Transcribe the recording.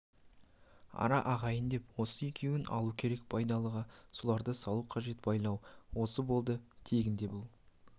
ара ағайын деп осы екеуін алу керек байдалыға соларды салу қажет байлау осы болды тегінде бұл